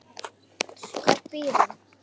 Hvar býr hún?